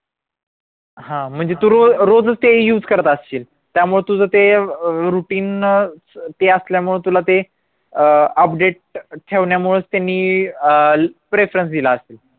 हा म्हणजे तू रोज रोजच ते use करत अशील त्यामुळे तुझं ते routine अं ते असल्यामुळे तुला ते अह update ठेवण्यामुळेच त्यांनी अह preference दिला असेल